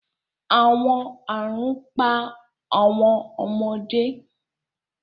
Awọn arun pa awọn ọmọde